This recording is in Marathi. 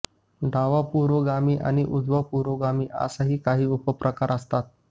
डावा पुरोगामी आणि उजवा पुरोगामी असेही काही उपप्रकार असतात